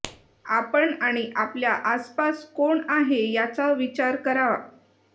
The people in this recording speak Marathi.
आपण आणि आपल्या आसपास कोण आहे याचा विचार करा